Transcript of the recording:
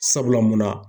Sabula munna